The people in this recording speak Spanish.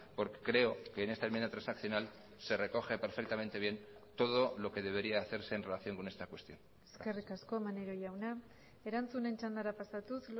porque creo que en esta enmienda transaccional se recoge perfectamente bien todo lo que debería hacerse en relación con esta cuestión eskerrik asko maneiro jauna erantzunen txandara pasatuz